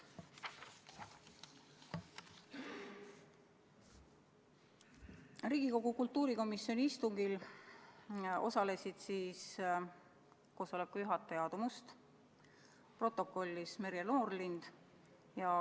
Riigikogu kultuurikomisjoni istungil osales koosoleku juhataja Aadu Must, protokollis Merje Noorlind.